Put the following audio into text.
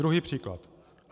Druhý příklad.